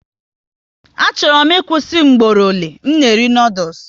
Achọrọ m ịkwụsị mgboro ole m na eri noodules